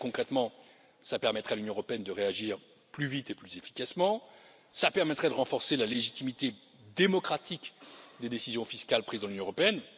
Très concrètement, cela permettrait à l'Union européenne de réagir plus vite et plus efficacement et cela permettrait, demain, de renforcer la légitimité démocratique des décisions fiscales prises dans l'Union européenne.